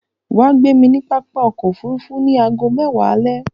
Wà gbé mi ni pápá ọkọ̀ òfurufú ni àágọ mẹ́wa alẹ̀.